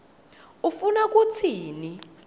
ufuna kutsini